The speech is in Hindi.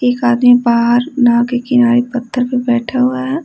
एक आदमी बाहर नाव के किनारे पत्थर पर बैठा हुआ है।